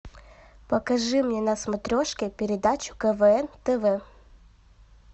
покажи мне на смотрешке передачу квн тв